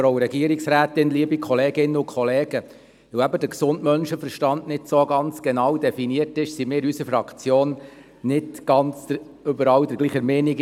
Da der gesunde Menschenverstand eben nicht genau definiert ist, ist sich unsere Fraktion diesbezüglich nicht überall ganz einig.